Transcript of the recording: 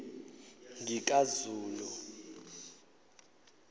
ngikazulu